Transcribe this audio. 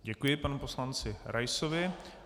Děkuji panu poslanci Raisovi.